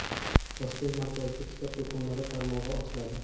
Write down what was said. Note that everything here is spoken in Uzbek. Toshkent markazida kitob do‘konlari tarmog‘i ochiladi.